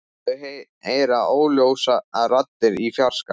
Þau heyra óljósar raddir í fjarska.